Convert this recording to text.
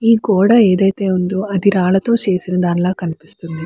ఈ గోడ ఏదైతే ఉందో అది రాళ్లతో చేసిన దాన్లో కనిపిస్తూ ఉంది.